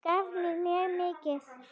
Gaf mér mjög mikið.